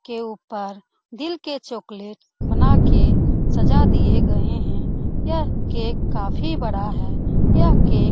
के ऊपर दिल के चॉकलेट बना के सजा दिए गए हैं। यह केक काफी बड़ा है। यह केक --